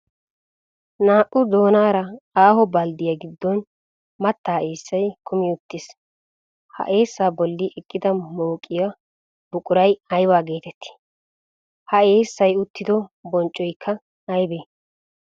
Naa''u doonara aaho balddiyaa giddon mattaa eessay kumi uttiis, ha eessaa bolli eqqida mooqiyo buquray ayba geetetti? Ha eessay uttido bonccoykka aybee?